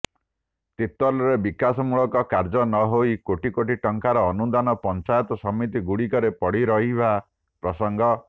ତିର୍ତୋଲରେ ବିକାଶମୂଳକ କାର୍ଯ୍ୟ ନହୋଇ କୋଟି କୋଟି ଟଙ୍କାର ଅନୁଦାନ ପଂଚାୟତ ସମିତି ଗୁଡିକରେ ପଡିରହିବା ପ୍ରସଙ୍ଗ